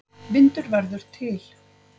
Vindur verður til.